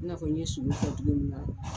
I n'a fɔ n ye sogo fɔ cogo min na.